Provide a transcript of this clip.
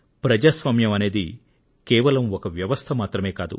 ప్రజాస్వామ్యం అనేది కేవలం ఒక వ్యవస్థ మాత్రమే కాదు